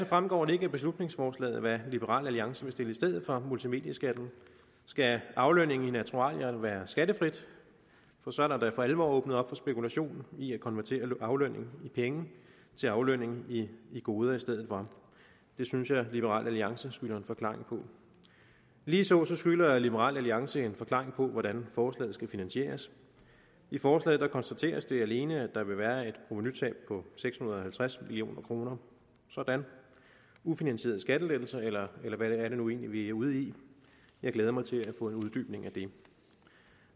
fremgår det ikke af beslutningsforslaget hvad liberal alliance vil stille i stedet for multimedieskatten skal aflønning i naturalier være skattefrit for så er der da for alvor lukket op for spekulation i at konvertere aflønning i penge til aflønning i goder i stedet for det synes jeg liberal alliance skylder en forklaring på ligeså skylder liberal alliance en forklaring på hvordan forslaget skal finansieres i forslaget konstateres det alene at der vil være et provenutab på seks hundrede og halvtreds million kroner sådan ufinansierede skattelettelser eller hvad er det nu egentlig vi er ude i jeg glæder mig til at få en uddybning af det